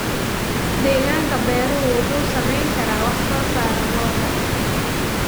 Deegaanka beeruhu wuxuu saameyn karaa wax-soo-saarka lo'da.